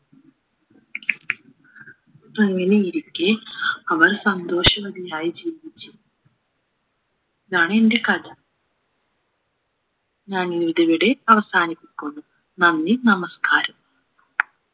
അങ്ങനെയിരിക്കെ അവൾ സന്തോഷവതിയായി ജീവിച്ചു ഇതാണെന്റെ കഥ ഞാനിതിവിടെ അവസാനിപ്പിക്കുന്നു നന്ദി നമസ്കാരം